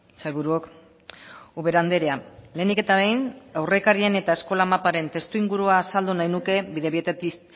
sailburuok ubera andrea lehenik eta behin aurrekarien eta eskola maparen testuingurua azaldu nahi nuke bidebieta